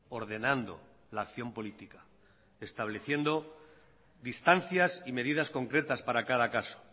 ordenando la acción política estableciendo distancias y medidas concretas para cada caso